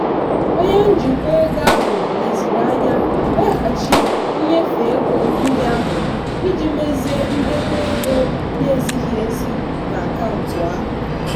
onye njikwa ego ahụ lezirianya weghachi nnyefe ego ndị ahụ iji mezie ndekọ ego na-ezighị ezi n'akaụntụ ahụ.